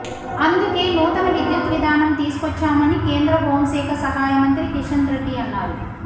అందుకే నూతన విద్యుత్ విధానం తీసుకొచ్చామని కేంద్ర హోంశాఖ సహాయ మంత్రి కిషన్రెడ్డి అన్నారు